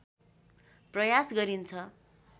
प्रयास गरिन्छ